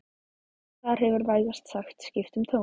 Og þar hefur vægast sagt skipt um tón